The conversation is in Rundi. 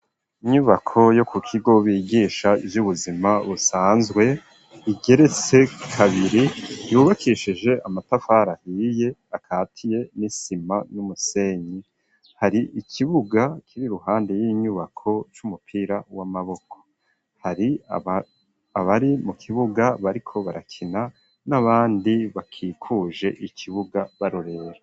Inyubako yo ku kigo bigisha ivy'ubuzima busanzwe igeretse kabiri yubakishije amatafari ahiye akatiye n'isima n'umusenyi hari ikibuga kuruhande y'inyubako c'umupira w'amaboko abari mu kibuga bariko barakina n'abandi bakikuje ikibuga barorera.